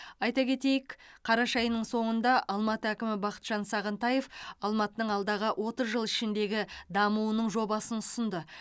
айта кетейік қараша айының соңында алматы әкімі бақытжан сағынтаев алматының алдағы отыз жыл ішіндегі дамуының жобасын ұсынды